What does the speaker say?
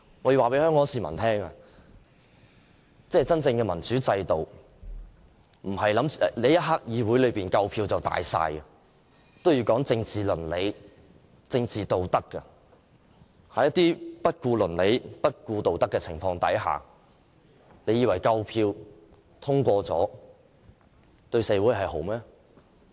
我要告訴香港市民，真正的民主制度不是在議會裏有足夠票數便算，也要有政治倫理、政治道德，在不顧倫理、不顧道德的情況下，你們以為有足夠票通過便是對社會好嗎？